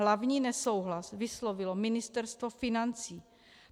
Hlavní nesouhlas vyslovilo Ministerstvo financí.